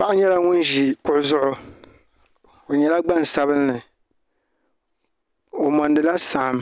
Paɣa nyela ŋun ʒi kuɣu zuɣu o nyela gbansabinli o mondila saɣim